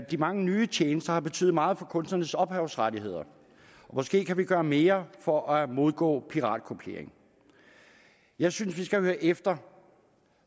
de mange nye tjenester har betydet meget for kunstnernes ophavsrettigheder og måske kan vi gøre mere for at modgå piratkopiering jeg synes vi skal høre efter